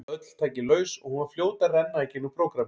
Öll tæki laus og hún var fljót að renna í gegnum prógrammið.